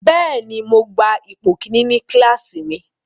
Bẹ́ẹ̀ni, Mo gba ipo kini ni kilasi mi